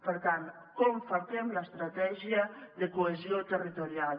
per tant com falquem l’estratègia de cohesió territorial